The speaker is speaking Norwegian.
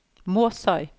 Måsøy